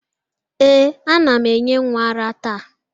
Ee, a na m enye nwa ara taa.